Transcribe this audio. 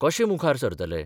कशे मुखार सरतले?